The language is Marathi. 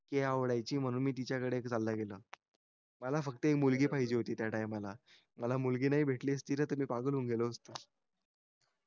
ती आवडायची म्हणून मी तिच्याकडे चालला गेलो मला फक्त मुलगी पाहिजे होती त्या टाईमला मला मुलगी नाही भेटली असती ना त मी पागल होऊन गेलो असतो